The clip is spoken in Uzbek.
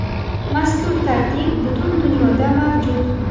Mazkur tartib butun dunyoda mavjud.